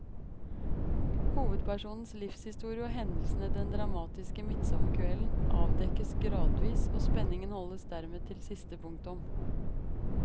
Hovedpersonens livshistorie og hendelsene den dramatiske midtsommerkvelden avdekkes gradvis, og spenningen holdes dermed til siste punktum.